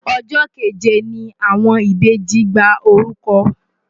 Ọjọ́ keje ni àwọn ìbejì gba orúkọ.